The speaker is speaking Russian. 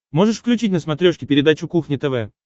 можешь включить на смотрешке передачу кухня тв